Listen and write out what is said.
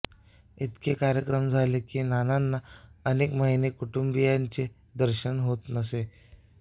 इतके कार्यक्रम झाले की नानांना अनेक महिने कुटुंबीयांचे दर्शनही होत नसे